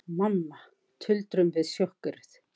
Mamma, tuldrum við, sjokkeruð.